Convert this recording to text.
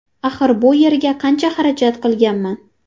Axir bu yerga qancha xarajat qilinganman.